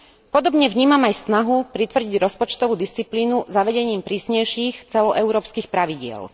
Podobne vnímam aj snahu pritvrdiť rozpočtovú disciplínu zavedením prísnejších celoeurópskych pravidiel.